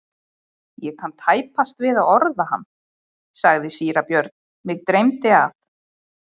Ég kann tæpast við að orða hann, sagði síra Björn,-mig dreymdi að.